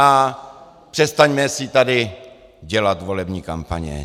A přestaňme si tady dělat volební kampaně.